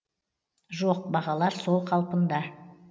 жоқ бағалар сол қалпыда